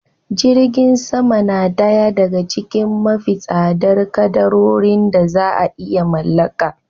Jirgin sama na daya daga cikin mafi tsadar kadarorin da za iya mallaka